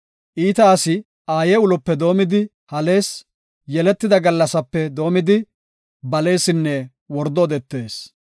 Iita asi aaye ulope doomidi halees; yeletida gallasape doomidi, baleesinne wordo odetees.